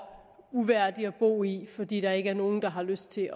uværdig at bo i fordi der ikke er nogen der har lyst til